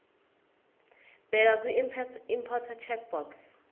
bheka kwiimporter checkbox